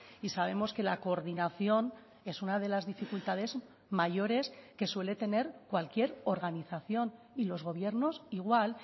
y sabemos que la coordinación es una de las dificultades mayores que suele tener cualquier organización y los gobiernos igual